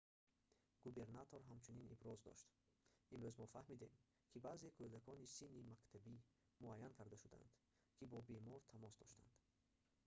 губернатор ҳамчунин иброз дошт имрӯз мо фаҳмидем ки баъзе кӯдакони синни мактабӣ муайян карда шудаанд ки бо бемор тамос доштанд